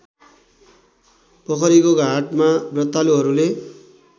पोखरीको घाटमा व्रतालुहरूले